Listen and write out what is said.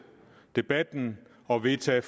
debatten og vedtage